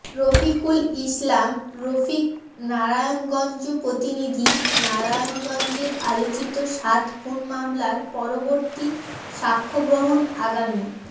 রফিকুল ইসলাম রফিক নারায়ণগঞ্জ প্রতিনিধিঃ নারায়ণগঞ্জের আলোচিত সাত খুন মামলার পরবর্তী স্বাক্ষ্য গ্রহণ আগামী